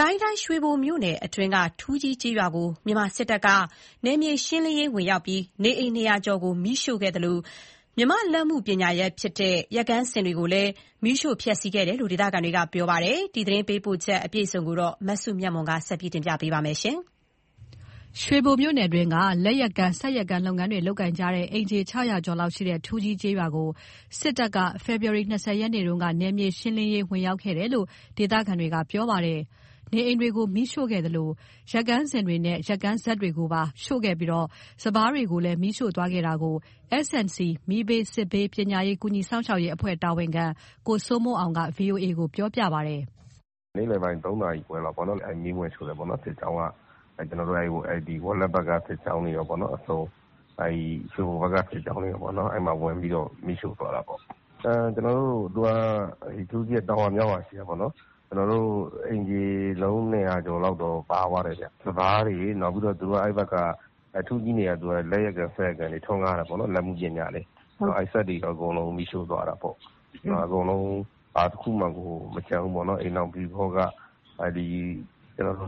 ကိုင်းတိုင်း ရွှေဘိုမြို့နယ်အတွင်းက ထူးကြီး ကျေးရွာကို မြန်မာစစ်တပ်က နယ်မြေရှင်းလင်းရေး ဝင်ရောက်ပြီး နေအိမ် ၂၀၀ ကျော် မီးရှို့ခဲ့သလို မြန်မာလက်မှုပညာဖြစ်တဲ့ ရက်ကန်းစင်တွေကိုလည်း မီးရှို့ခဲ့တယ်လို့ ဒေသခံတွေက ပြောပါတယ်။ ဒီသတင်းပေးပို့ချက်ကို မစုမြတ်မွန်တင်ဆက်ပေးမှာပါ။ ရွှေဘိုမြို့နယ်အတွင်းက လက်ယက်ကန်း၊ စက်ယက်ကန်း လုပ်ငန်းတွေ လုပ်ကိုင်ကြတဲ့ အိမ်ခြေ ၆၀၀ ကျော်လောက်ရှိတဲ့ ထူးကြီးကျေးရွာကို မြန်မာစစ်တပ်က ဖေဖော်ဝါရီ ၂၀ ရက်နေ့က နယ်မြေရှင်းလင်းရေး ဝင်ရောက်ခဲ့တယ်လို့ ဒေသခံတွေကပြောပါတယ်။ နေအိမ်တွေကို မီးရှို့ခဲ့သလို ယက်ကန်းစင်တွေနဲ့ ယက်ကန်း စက်တွေကိုပါ ရှို့ခဲ့ပြီး စပါးတွေကိုလည်း မီးရှို့သွားတယ်လို့ S&C မီးဘေး စစ်ဘေး ပညာရေး ကူညီစောင့်ရှောက်ရေးအဖွဲ့ တာဝန်ခံ ကိုစိုးမိုးအောင်က VOA ကိုပြောပါတယ်။ "နေ့လယ်ပိုင်း ၃ နာရီခွဲလောက်ပေါ့နှော် မီးဝင်ရှို့တယ်ပေါ့ စစ်ကြောင်းက ကျွန်တော်တို့မှာ ဝက်လက်ဖက်က စစ်ကြောင်းတွေရောပေါ့နော် အစုံ ရွေဘိုဖက်က စစ်ကြောင်းတွေရောပေါ့နော် ဝင်ပြီးတော့ မီးရှို့သွားတာပေါ့။ ထူးကြီးက တောင်ရွာ မြောက်ရွာရှိတာပေါ့နော်။ အိမ်ခြေ အလုံး ၂၀၀ ကျော်လောက်တော့ ပါသွားတယ်ဗျ။ စပါးတွေရော နောက်ပြီးတော့ သူတို့က အဲ့ဖက်က ထူးကြီးက စက်ယက်ကန်း လက်ယက်ကန်းတွေ ထွန်းကားတာပေါ့နော် လက်မှုပညာတွေ။ အဲ့စက်တွေပ့ါအကုန် မီးရှို့သွားတာပေါ့။ အကုန်လုံး ဘာတခုမှကို မကျန်ဘူးပေါ့နော် အိမ်ထောင်ပရိဘောဂ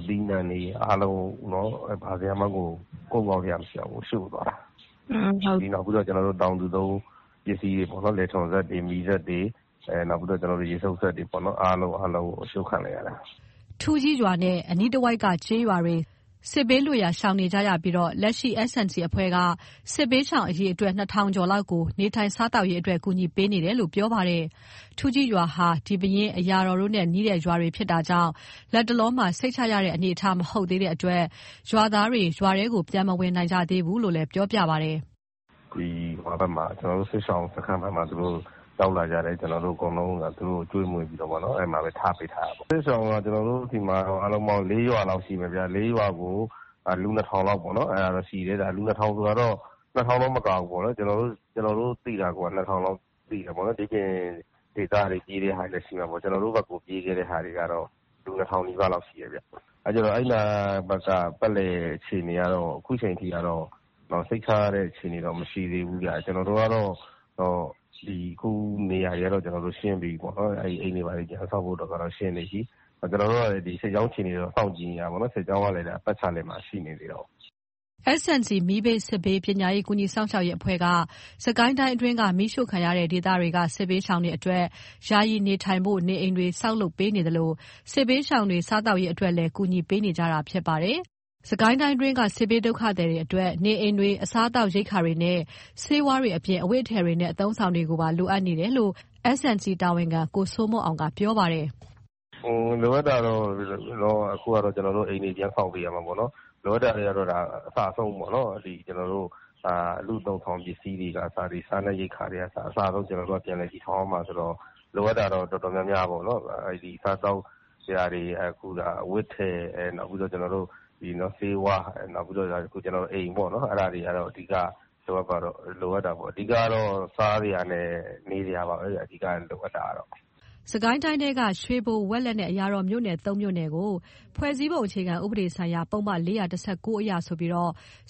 သီးနှံတွေ အားလုံး ဘာမှကို ကုန်းကောက်စရာ မရှိအောင်ကို ရှို့သွားတာ။ နောက်ပြီး တောင်သူသုံး လယ်ထွန်စက်တွေ မီးစက်တွေ၊ ရေစုပ်စက်တွေ အားလုံး အရှို့ခံလိုက်ရတာ။" ထူးကြီးရွာနဲ့ အနီးတဝိုက်က ကျေးရွာတွေ စစ်ဘေးရှောင်နေကြရပြီး လက်ရှိ S&C က စစ်ရှောင် အရေအတွက် ၂၀၀၀ ကျော်လောက်ကို နေထိုင်စားသောက်ရေးအတွက် ကူညီပေးနေတယ်လို့ ပြောပါတယ်။ ထူးကြီးရွာက ဒီပဲယင်း၊ အရာတော်တို့နဲ့ နီးတဲ့ရွာဖြစ်တာကြောင့် လက်တလောမှာ စိတ်ချရတဲ့ အနေအထားမဟုတ်သေးတဲ့အတွက် ရွာကို ပြန်မဝင်နိုင်ကြသေးဘူးလို့ ဆိုပါတယ်။ "သူတို့က ကျွန်တော်တို့ စစ်ရှောင်စခန်းဖက်ကို ရောက်လာကြတယ်၊ ကျွန်တော်တို့ အကုန်လုံးကိုဒါ ကျွေးမွေးပြီးတော့ပဲ ထားပေးထားတာပေါ့။ စစ်ရှောင်က ကျွန်တော်တို့ ဆီမှာတော့ ၄ ရွာလောက်ရှိမယ်ဗျ၊ လေးရွာကို လူ ၂၀၀၀ လောက်ပေါ့နော် အဲ့လောက်တော့ ရှိတယ်။ လူ ၂၀၀၀ ဆိုတာက ၂၀၀၀ တော့မကဘူးပေါ့နော်၊ ကျွန်တော်တို့သိတာကိုက ၂၀၀၀ လောက်ပေါ့၊ တခြားဒေသကို ပြေးတဲ့ သူတွေလည်း ရှိမှာပေါ့။ ကျွန်တော်တို့ဖက်ကို ပြေးခဲ့တဲ သူကတော့ လူ ၂၀၀၀ လောက်ရှိတယ်ဗျ။ အဲ့နားဖက်က ပတ်လည်အခြေအနေကတော့ ခုချိန်ထိကတော့ စိတ်ချရတဲ့ အခြေအနေတော့ မရှိသေးဘူးဗျ။ ကျွန်တော်တို့ကတော့ အခုနေရာတွေကတော့ ကျွန်တော်တို့ ရှင်းပြီးပြီပေါ့ အိမ်တွေဘာတွေ ပြန်ဆောက်ပေးဖို့ကတော့ ကျွန်တော်တို့ရှင်းနေပြီ။ ကျွန်တော်တို့စစ်ကြောင်းအခြေအနေကို စောင့်ကြည့်နေသေးတောပေါ့၊ စစ်ကြောင်းကလည်း ပတ်လည်မှာ ရှိနေသေးတာကိုး။" S&C မီးဘေး စစ်ဘေး ပညာရေး ကူညီစောင့်ရှောက်ရေးအဖွဲ့က စစ်ကိုင်းတိုင်းအတွင်းက မီးရှို့ခံရတဲ့ ဒေသတွေက စစ်ရှောင်တွေအတွက် ယာယီနေထိုင်နိုင်ဖို့ နေအိမ်တွေ ဆောက်လုပ်ပေးနေသလို စစ်ရှောင်တွေ စားသောက်ရေးအတွက်လည်း ကူညီပေးနေကြတာဖြစ်ပါတယ်။ စစ်ကိုင်းတိုင်းအတွင်းက စစ်ရှောင်တွေအတွက် နေအိမ်တွေ၊ စားသောက်ရိက္ခာတွေနဲ့ ဆေးဝါးတွေအပြင် အဝတ်အထည်တွေနဲ့ အသုံးအဆောင်တွေပါ လိုအပ်နေတယ်လို့ S&C တာဝန်ခံ ကိုစိုးမိုးအောင်က ပြောပါတယ်။ "လိုအပ်တာတွေကတော့ ကျွန်တော်တို့ အိမ်တွေ ပြန်ဆောက်ပေးရမှာပေါ့နော်။ လိုအပ်တာတွေကတော့ အစအဆုံးပေါ့။ လူ့အသုံးအဆောင်တွေကအစ စားနပ်ရိက္ခာတွေကအစ အကုန် ကျွန်တော်တို့က ပြန်လည်တည်ထောင်ရမှာဆိုတော့ လိုအပ်တာကတော့ တော်တော်များများပေါ့ စားသောက်စရာတွေကအစ အဝတ်အထည် နောက်ပြီးတာ့ ဆေးဝါး နောက်ပြီးတော့ အိမ်ပေါ့နော် အဲ့ဒါတွေကတော့ အဓိက လိုအပ်တာပေါ့။ အဓိကကတော့ စားစရာနဲ့ နေစရာပါပဲဗျ အဓီကလိုအပ်တာကတော့။" ဖေဖော်ဝါရီ ၂၂ ရက် ညက စစ်ကိုင်းတိုင်းထဲက ရွှေဘို၊ ဝက်လက်နဲ့ အရာတော်မြို့နယ် ၃ မြို့နယ်ကို ဖွဲ့စည်းပုံအခြေခံဥပဒေဆိုင်ရာ ပုဒ်မ ၄၁၉ အရဆိုပြီး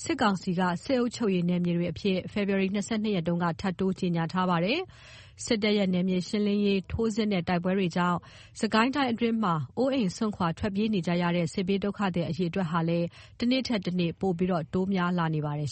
စစ်ကောင်စီက စစ်အုပ်ချုပ်ရေးအဖြစ် ထပ်တိုး ကြေငြာထားပါတယ်။ စစ်တပ်ရဲ့ နယ်မြေရှင်းလင်းရေး ထိုးစစ်နဲ့ တိုက်ပွဲတွေကြောင့် စစ်ကိုင်းအတွင်းမှာ အိုးအိမ် စွန့်ခွာ ထွက်ပြေးနေကြရတဲ့ စစ်ရှောင် အရေ အတွက်တွေက တနေ့ထက်တနေ့ ပိုပြီးတိုးလာနေပါတယ်